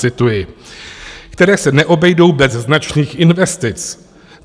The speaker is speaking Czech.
Cituji: které se neobejdou bez značných investic.